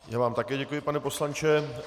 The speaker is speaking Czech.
Já vám také děkuji, pane poslanče.